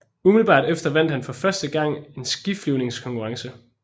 Umiddelbart efter vandt han for første gang en skiflyvningskonkurrence